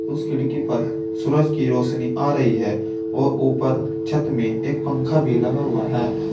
उस खिड़की पर सूरज की रोशनी आ रही है और ऊपर छत में एक पंखा भी लगा हुआ है।